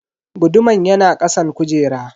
Guduman yana kasan kujera.